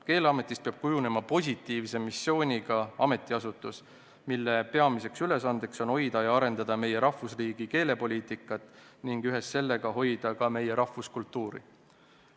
Keeleametist peab kujunema positiivse missiooniga ametiasutus, mille peamine ülesanne on hoida ja arendada meie rahvusriigi keelepoliitikat ning ühes sellega hoida ka meie rahvuskultuuri.